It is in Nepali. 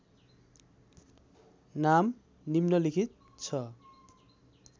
नाम निम्नलिखित छ